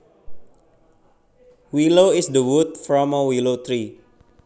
Willow is the wood from a willow tree